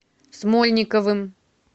смольниковым